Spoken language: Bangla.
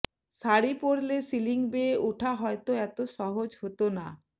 শাড়ি পরলে সিলিং বেয়ে ওঠা হয়তো এত সহজ হত না